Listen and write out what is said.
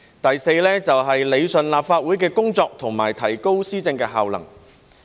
第四，是理順立法會的工作和提高施政效能。